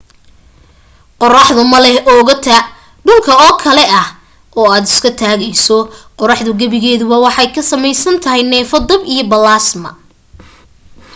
qoraxdu ma leh oogo ta dhulka oo kale ah oo aad isku taagayso qoraxdu gebigeeduba waxay ka samaysan tahay neefo dab iyo balaasma